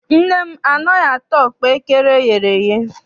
Nne m anaghị ata ọkpaekere eyere eye.